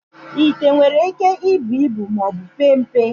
Ite nwere íké ibu ibu maọbụ pee mpe.